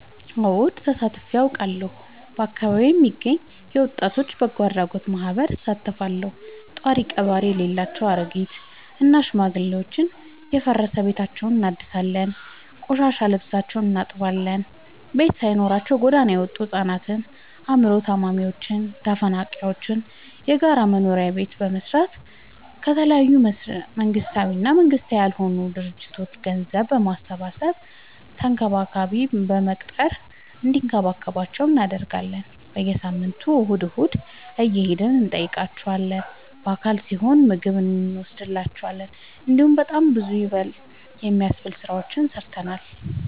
አወድ ተሳትፊ አውቃለሁ። በአካቢዬ የሚገኝ የወጣቶች በጎአድራጎት ማህበር እሳተፋለሁ። ጦሪቀባሪ የሌላቸው አሬጊት እና ሽማግሌዎችን የፈራረሰ ቤታቸውን እናድሳለን፤ የቆሸሸ ልብሳቸውን እናጥባለን፤ ቤት ሳይኖራቸው ጎዳና የወጡቱ ህፃናትን አይምሮ ታማሚዎችን ተፈናቃይዎችን የጋራ ቤት በመገንባት ከተለያዩ መንግስታዊ እና መንግስታዊ ካልሆኑ ድርጅቶች ገንዘብ በማሰባሰብ ተንከባካቢ በመቅጠር እንዲከባከቧቸው እናደርጋለን። በየሳምንቱ እሁድ እሁድ እየሄድን እንጠይቃቸዋለን በአል ሲሆን ምግብ እኖስድላቸዋለን። እንዲሁም በጣም ብዙ ይበል የሚያስብ ስራዎችን ሰርተናል።